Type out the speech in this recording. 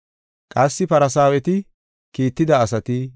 Qassi Farsaaweti kiitida asati